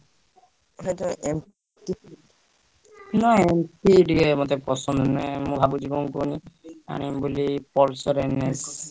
ନାଇଁ ମୋର ଟିକେ ପସନ୍ଦ ନୁହେଁ ମୁଁ ଭାବୁଛି କଣ କହିଲ ଆଣିବି ବୋଲି Pulsar NS ।